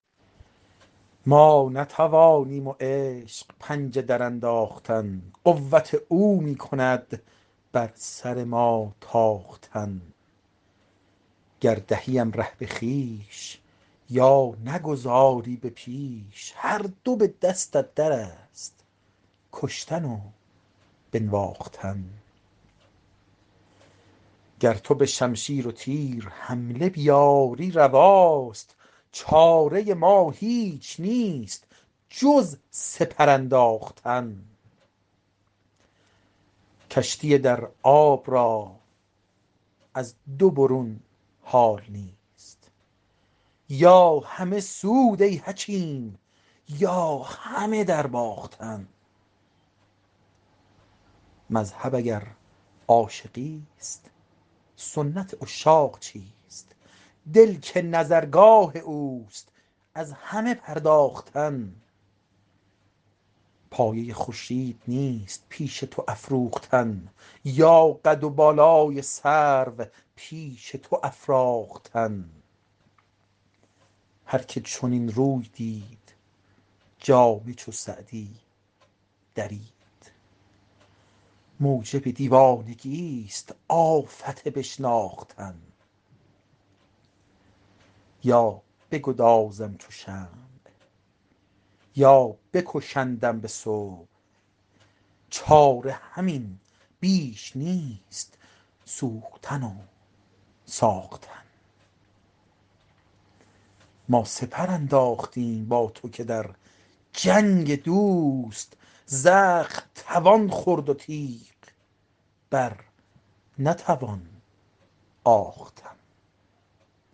ما نتوانیم و عشق پنجه درانداختن قوت او می کند بر سر ما تاختن گر دهیم ره به خویش یا نگذاری به پیش هر دو به دستت در است کشتن و بنواختن گر تو به شمشیر و تیر حمله بیاری رواست چاره ما هیچ نیست جز سپر انداختن کشتی در آب را از دو برون حال نیست یا همه سود ای حکیم یا همه درباختن مذهب اگر عاشقیست سنت عشاق چیست دل که نظرگاه اوست از همه پرداختن پایه خورشید نیست پیش تو افروختن یا قد و بالای سرو پیش تو افراختن هر که چنین روی دید جامه چو سعدی درید موجب دیوانگیست آفت بشناختن یا بگدازم چو شمع یا بکشندم به صبح چاره همین بیش نیست سوختن و ساختن ما سپر انداختیم با تو که در جنگ دوست زخم توان خورد و تیغ بر نتوان آختن